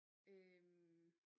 Øh